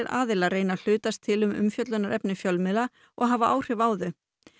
aðilar reyni að hlutast til um umfjöllunarefni fjölmiðla og hafa áhrif á þau